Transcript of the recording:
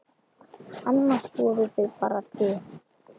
Annars voru þau bara tvö.